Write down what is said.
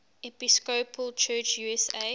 episcopal church usa